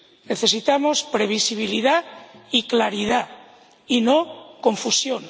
Necesitamos previsibilidad y claridad, no confusión.